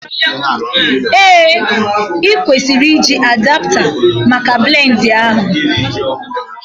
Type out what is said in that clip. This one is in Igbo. Ee, ị kwesịrị iji Adapta maka blend a ahụ